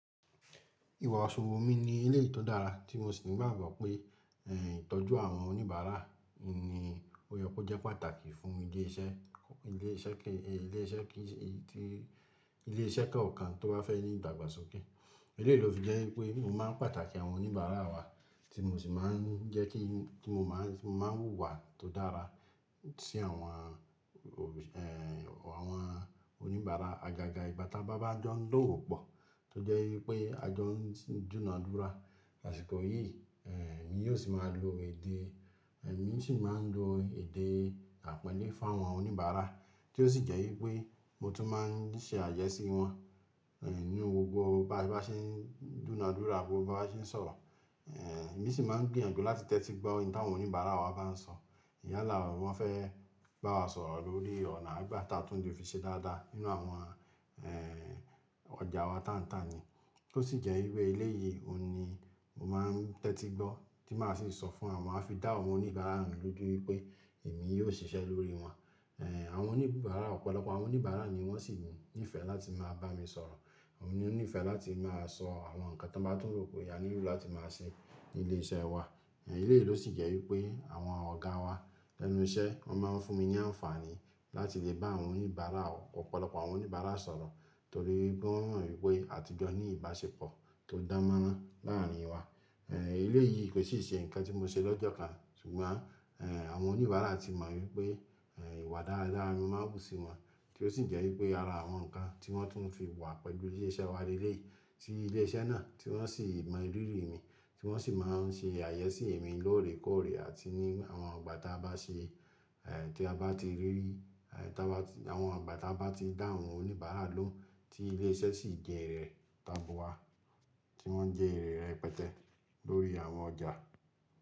Ìwààṣùwò mi ní ilé tó dára tí mo sì máa ń gbàgbọ́ pé, ẹ̀, ìtọ́jú àwọn oníbàárà ni ó yẹ kó jẹ́ pàtàkì fún ilé iṣẹ́, ilé tí ilé iṣẹ́ ká ọ̀kan tó bá fẹ́ ní ìdàgbàsókè. Eléyìí ló fi jẹ́ wípé èmi máa ń pàtàkì àwọn oníbàárà wa tí mo sì máa ń jẹ́ kí tí mo máa ń, máa ń hùwà tó dára sí àwọn ò, ẹ́ àwọn oníbàárà. Àgàgà ìgbà táa bá jọ ń dọ́wọ́ pọ̀ tó jẹ́ wípé a jọ ń dúnàdúrà àsìkò yìí, ẹ́, èmi yóò sì máa lo èdè, èmi sì máa ń lo èdè àpànlé fún àwọn oníbàárà tí ó sì jẹ́ wípé mo tún máa ń ṣe àyẹ́sí wọn, ẹ́, ní gbogbo ìgbà tí a bá ṣe ń dúnàdúrà, gbogbo bá ṣe ń sọ̀rọ̀. Ẹ̀, èmi sì máa ń gbìyànjú láti tẹ́tí gbọ́ ohun táwọn oníbàárà wa bá ń sọ. Yálà wọ́n fẹ́ bá wa sọ̀rọ̀ lórí ọ̀nà ìgbà tá tún le fi ṣe dáadáa nínú àwọn, ẹ́, ọjà wa tán tán ni. Tó sì jẹ́ wípé eléyìí òun ni mo máa ń tẹ́tí gbọ́ tí màá sì sọ fún àwọn mafídà àwọn oníbàárà lójoojúmọ́ wípé èmi yóò ṣiṣẹ́ lórí wọn. Ẹ̀, àwọn oníbàárà ọ̀pọ̀lọpọ̀ àwọn oníbàárà ni wọ́n sì ní ìfẹ́ láti máa bá mi sọ̀rọ̀. Wọ́n ní ìfẹ́ láti máa sọ àwọn nǹkan tí wọ́n bá tún rò pé á nílo láti máa ṣe ní ilé iṣẹ́ wa. Eléyìí ló sì jẹ́ wípé àwọn ọ̀gá wa lẹ́nu iṣẹ́ wọ́n máa ń fún mi ní àǹfààní láti lè bá àwọn oníbàárà ọ̀pọ̀lọpọ̀ àwọn oníbàárà sọ̀rọ̀ torí pe won mo wípé àtijọ́ ní ìbáṣepọ̀ tó dààmúlá láàárín wa. Eléyìí kò sì ṣe nǹkan tí mo ṣe lọ́jọ́ kan ṣùgbọ́n, ẹ́, àwọn oníbàárà ti mọ̀ wípé, ìwà dáadáa mi máa ń hù sí wọn tí ó sì jẹ́ wípé ara àwọn nǹkan tí wọ́n tún fi wà pẹ̀lú ilé iṣẹ́ wa rere sí ilé iṣẹ́ náà tí wọ́n sì mọ ìrírí mi tí wọ́n sì máa ń ṣe àyẹ́sí èmi lóòrèkóòrè àti ní àwọn ìgbà táa bá ṣe, ẹ́, tí a bá ti rí, ẹ́, tí a bá tí àwọn ìgbà táa bá ti dá àwọn oníbàárà lóhùn tí ilé iṣẹ́ sì jẹrẹ̀ táabua tí wọ́n jẹrẹ̀ rẹ̀pẹtẹ lórí àwọn ọjà.